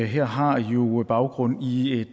her har jo baggrund i et